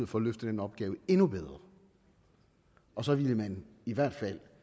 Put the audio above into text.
for at løfte den opgave endnu bedre og så ville man i hvert fald